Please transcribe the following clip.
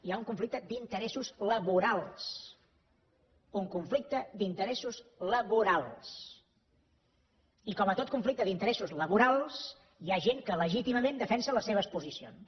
hi ha un conflicte d’interessos laborals un conflicte d’interessos laborals i com en tot conflicte d’interessos laborals hi ha gent que legítimament defensa les seves posicions